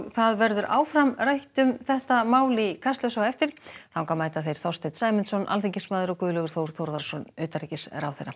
það verður áfram rætt um þetta mál í Kastljósi á eftir þangað mæta Þorsteinn Sæmundsson alþingismaður og Guðlaugur Þór Þórðarson utanríkisráðherra